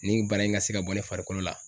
Nin bana in ka se ka bɔ ne farikolo la